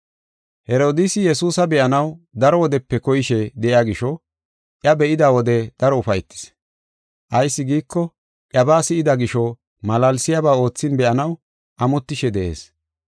Herodiisi Yesuusa be7anaw daro wodepe koyishe de7iya gisho, iya be7ida wode daro ufaytis. Ayis giiko, iyabaa si7ida gisho malaalsiyaba oothin be7anaw amotishe de7ees.